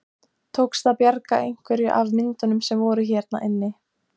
Tókst að bjarga einhverju af myndum sem voru hérna inni?